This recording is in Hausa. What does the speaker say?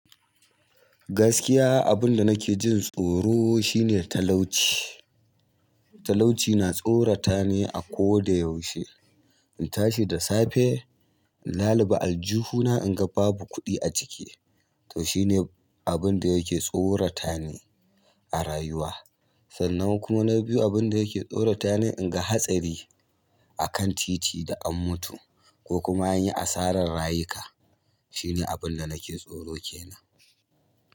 Gaskiya abunda nake jin tsoro shi ne talauci. Talauci na tsorata ni a koda yaushe. In tashi da safe in laluɓa aljihu na in ga babu kuɗi a cike to shi ne abinda yake tsorata ni a rayuwa. Sannan kuma na biyu abinda yake tsorata ne in ga hatsari akan titi duk an mutu ko kuma an yi asarar rayuka. Shi ne abunda nake tsoro kenan.